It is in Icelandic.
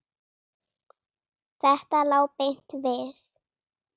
Þetta lá beint við.